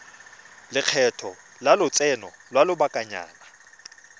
lekgetho la lotseno lwa lobakanyana